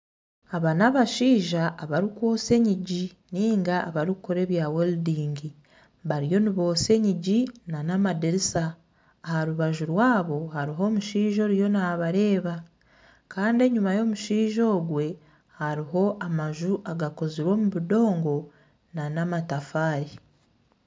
Aba n'abashaija abarikwotsya enyigi nainga abarikukora ebya weridingi bariyo nibotsya enyigi n'amadirisa. Aha rubaju rwabo hariho omushaija ariyo nabareeba. Kandi enyima y'omushaija ogwe, hariho amaju agakozirwe omu budongo n'amatafaari.